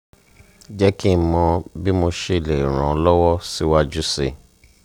jeki mo bi mosele ran o lowo si waju si